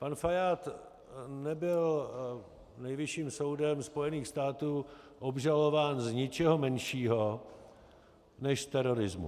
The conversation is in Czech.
Pan Fajád nebyl Nejvyšším soudem Spojených států obžalován z ničeho menšího než z terorismu.